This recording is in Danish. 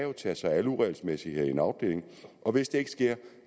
tage sig af alle uregelmæssigheder i en afdeling og hvis det ikke sker